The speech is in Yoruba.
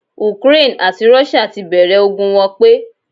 Ukraine àti Russia tí bẹ̀rẹ̀ ogun wọn pẹ́